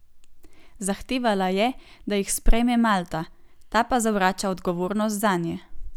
Zahtevala je, da jih sprejme Malta, ta pa zavrača odgovornost zanje.